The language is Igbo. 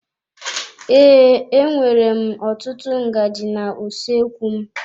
Ee, e nwèrè m ọtụtụ ngaji na usoekwu m.